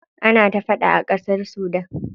Ana ta faɗa a ƙasar Sudan.